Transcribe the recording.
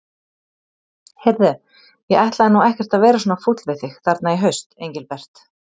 Heyrðu. ég ætlaði nú ekkert að vera svona fúll við þig þarna í haust, Engilbert.